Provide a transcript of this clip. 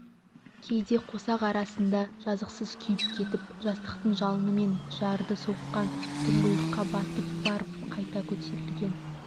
кейде қосақ арасында жазықсыз күйіп кетіп жастықтың жалынымен жарды соққан тұңғиыққа батып барып қайта көтерілген